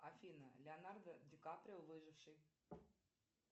афина леонардо ди каприо выживший